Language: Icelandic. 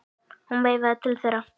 Hún veifaði til þeirra.